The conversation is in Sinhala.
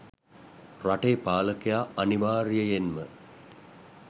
රටේ පාලකයා අනිවාර්යයයෙන්ම